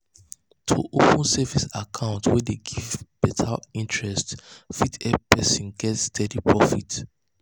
to open savings account wey dey give better interest fit help person get steady profit.